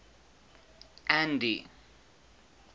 andy